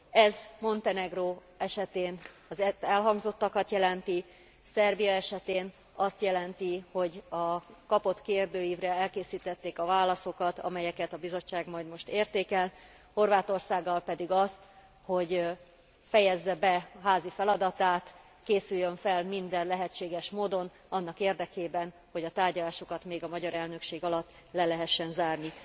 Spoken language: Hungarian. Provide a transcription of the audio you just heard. Ez Montenegró esetén az elhangzottakat jelenti, Szerbia esetén azt jelenti, hogy a kapott kérdőívre elkészítették a válaszokat, amelyeket a Bizottság majd most értékel, Horvátországgal pedig azt, hogy fejezze be a házi feladatát, készüljön fel minden lehetséges módon annak érdekében, hogy a tárgyalásokat még a magyar elnökség alatt le lehessen zárni.